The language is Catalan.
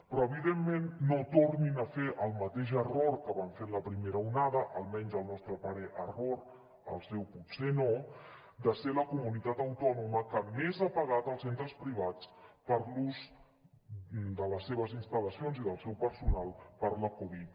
però evidentment no tornin a fer el mateix error que van fer en la primera onada almenys al nostre parer error al seu potser no de ser la comunitat autònoma que més ha pagat als centres privats per l’ús de les seves instal·lacions i del seu personal per la covid